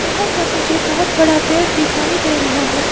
यहां पर मुझे बहोत बड़ा पेड़ दिखाई दे रहा है।